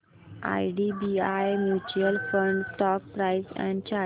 IDBI mutual fund stock price and chart